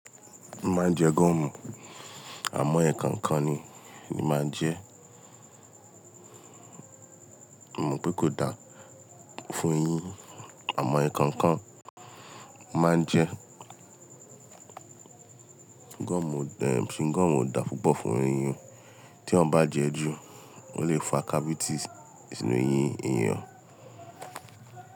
Má jẹ gọ́ọ̀mù, àmọ́ ẹ̀ẹ̀kọ̀kan ni máa jẹ́. Mo mọ̀ pé kò dá fún eyín àmọ́ ekankan mo maan jẹ gọ́ọ̀mù singọ́ọ̀mù ò dáa púpọ̀ fún èèyàn. Tí èèyàn bá jẹ é jù, ó lè fa cavities sínú eyín èèyàn.